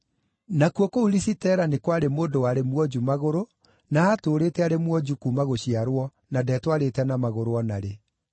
Nakuo kũu Lisitera nĩ kwarĩ mũndũ warĩ mwonju magũrũ, na aatũũrĩte arĩ mwonju kuuma gũciarwo na ndetwarĩte na magũrũ o narĩ.